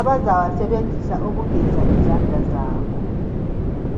abazawasebenzisa ukuveza izandla zabo.